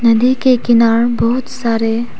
नदी के किनारे बहुत सारे--